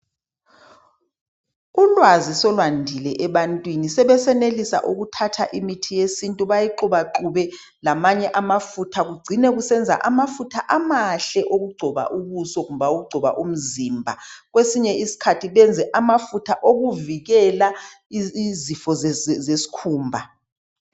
Ulwazi selwandile ebantwini. Sebesenelisa ukuthatha imithi yesintu, bayixubaxube, lamanye amafutha. Kucine kusenza amafutha amahle okugcoba ubuso, kumbe awokugcoba umzimba. Kwesinye isikhathi benze amafutha okuvikela lzifo zesikhumba.